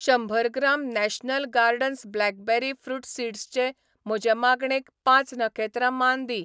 शंबर gram national gardens blackberry fruit सीड्सचे म्हजे मागणेक पांच नखेत्रां मान दी.